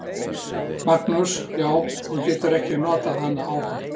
Magnús: Já, þú getur ekki notað hana áfram?